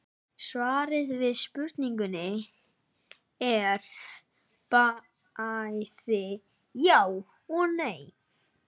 Svarið við spurningunni er bæði já og nei.